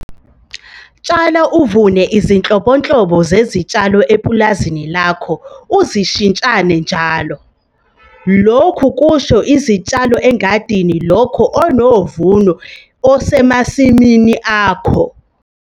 Tshala uvune izinhlobonhlobo zezitshalo epulazini lakho uzishintshane njalo. Lokhu kusho izitshalo engadini lakho nomvuno osemasimini akho.